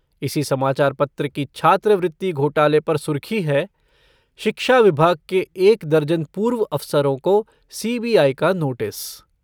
इसी समाचार पत्र की छात्रवृति घोटाले पर सुर्खी है शिक्षा विभाग के एक दर्जन पूर्व अफसरों को सीबीआई का नोटिस।